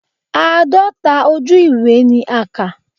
Àádọ́ta ojú ewé ni a kà.